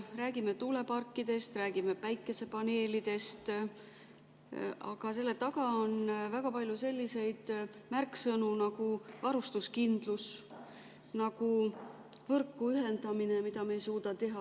Räägime tuuleparkidest, räägime päikesepaneelidest, aga selle taga on väga palju selliseid märksõnu nagu varustuskindlus, võrku ühendamine, mida me ei suuda teha.